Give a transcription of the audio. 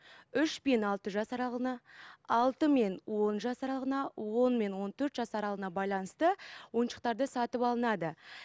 үш пен алты жас аралығына алты мен он жас аралығына он мен он төрт жас аралығына байланысты ойыншықтарды сатып алынады